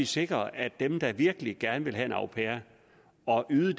sikret at det er dem der virkelig gerne vil have en au pair og yde